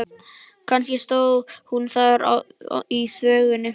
Kannski stóð hún þar í þvögunni.